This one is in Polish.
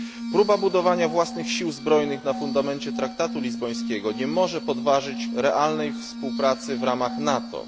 Próba budowania własnych sił zbrojnych na fundamencie Traktatu Lizbońskiego nie może podważyć realnej współpracy w ramach NATO.